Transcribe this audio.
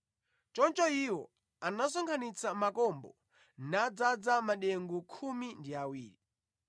Choncho iwo anasonkhanitsa makombo nadzaza madengu khumi ndi awiri.